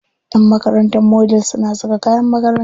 Ƴan makarantar Model suna saka kayan makaranta.